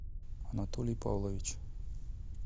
анатолий павлович